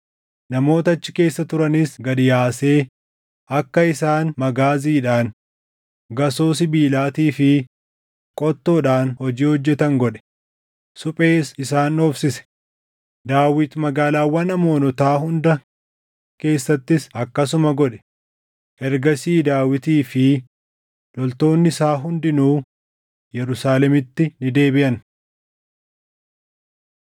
namoota achi keessa turanis gad yaasee akka isaan magaaziidhaan, gasoo sibiilaatii fi qottoodhaan hojii hojjetan godhe; suphees isaan dhoofsise. Daawit magaalaawwan Amoonotaa hunda keessattis akkasuma godhe. Ergasii Daawitii fi loltoonni isaa hundinuu Yerusaalemitti ni deebiʼan.